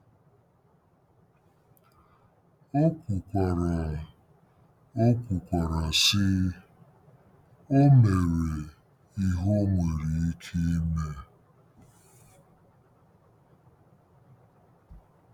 O kwukwara, O kwukwara, sị: “O mere ihe o nwere ike ime.